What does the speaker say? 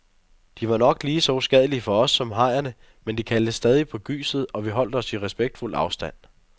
De var nok lige så uskadelige for os som hajerne, men de kaldte stadig på gyset, og vi holdt os i respektfuld afstand.